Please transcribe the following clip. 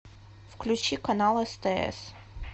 включи канал стс